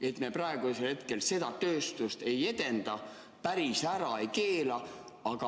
Et me praegu seda tööstust ei edenda, aga päris ära ka ei keela.